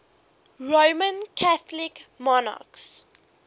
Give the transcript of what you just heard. roman catholic monarchs